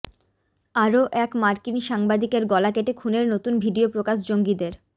আরও এক মার্কিন সাংবাদিকের গলা কেটে খুনের নতুন ভিডিও প্রকাশ জঙ্গিদের